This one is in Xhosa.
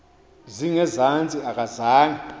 zinge zantsi akazange